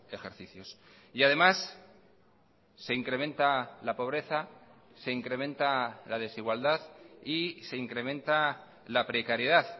ejercicios y además se incrementa la pobreza se incrementa la desigualdad y se incrementa la precariedad